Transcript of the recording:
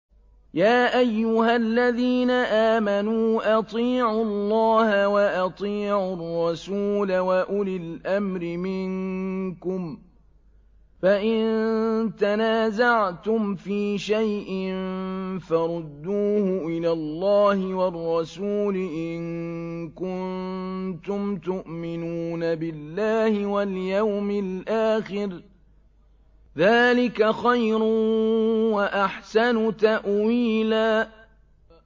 يَا أَيُّهَا الَّذِينَ آمَنُوا أَطِيعُوا اللَّهَ وَأَطِيعُوا الرَّسُولَ وَأُولِي الْأَمْرِ مِنكُمْ ۖ فَإِن تَنَازَعْتُمْ فِي شَيْءٍ فَرُدُّوهُ إِلَى اللَّهِ وَالرَّسُولِ إِن كُنتُمْ تُؤْمِنُونَ بِاللَّهِ وَالْيَوْمِ الْآخِرِ ۚ ذَٰلِكَ خَيْرٌ وَأَحْسَنُ تَأْوِيلًا